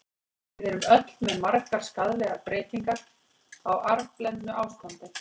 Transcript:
Við erum öll með margar skaðlegar breytingar, á arfblendnu ástandi.